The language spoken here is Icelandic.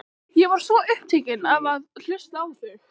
Ég var svo upptekinn af að hlusta á þig.